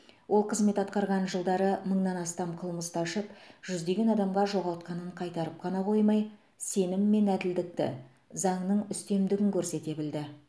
ол қызмет атқарған жылдары мыңнан астам қылмысты ашып жүздеген адамға жоғалтқанын қайтарып қана қоймай сенім мен әділдікті заңның үстемдігін көрсете білді